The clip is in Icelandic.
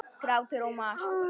Grátur og mar.